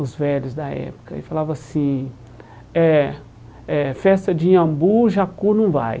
Os velhos da época, e falavam assim eh eh Festa de Iambu, Jacu não vai